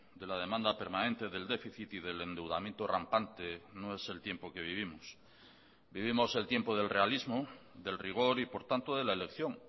de la demanda permanente del déficit y del endeudamiento rampante no es el tiempo que vivimos vivimos el tiempo del realismo del rigor y por tanto de la elección